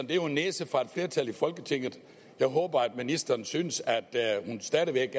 det jo er en næse fra et flertal i folketinget jeg håber at ministeren synes at hun stadig væk